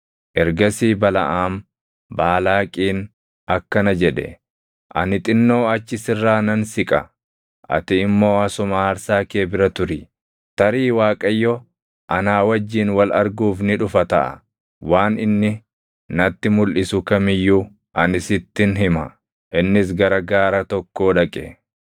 Ergasii Balaʼaam Baalaaqiin akkana jedhe; “Ani xinnoo achi sirraa nan siqa; ati immoo asuma aarsaa kee bira turi. Tarii Waaqayyo anaa wajjin wal arguuf ni dhufa taʼa. Waan inni natti mulʼisu kam iyyuu ani sittin hima.” Innis gara gaara tokkoo dhaqe.